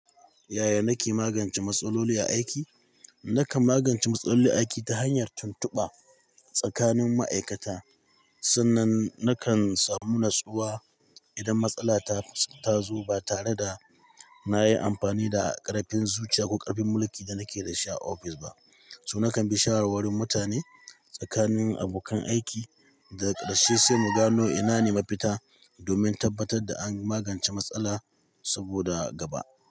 Yaya nake magance matsaloli a aiki? Nakan magance matsaloli aiki ta hanyar tuntuɓa tsakanin ma'aikata, sannan nakan samu nutsuwa idan matsala ta zo ba tare da na yi amfani da ƙarfin zuciya ko ƙarfin mulki da nake da shi a ofis ba. So nakan bi shawarwarin mutane tsakanin abokan aiki daga ƙarshe sai mu gano ina ne mafita domin tabbatar da an magance matsala saboda gaba.